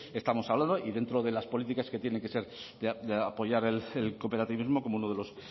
estamos hablando y dentro de las políticas que tienen que ser de apoyar el cooperativismo como uno de los